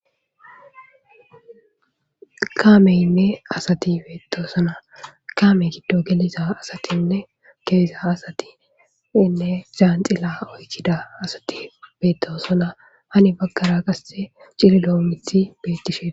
Kaameynne asati beettosona. kaame giddo geliza asatinne ke'iza asatiinne zhanxila oykida asati beettosona. hani baggara qasse cililoo mithi bettishee.